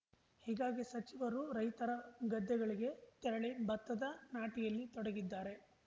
ಹೀಗಾಗಿ ಸಚಿವರು ರೈತರ ಗದ್ದೆಗಳಿಗೆ ತೆರಳಿ ಭತ್ತದ ನಾಟಿಯಲ್ಲಿ ತೊಡಗಿದ್ದಾರೆ